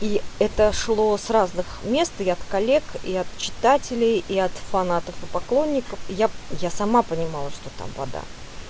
и это шло с разных мест и от коллег и читателей и от фанатов и поклонников я я сама понимала что там вода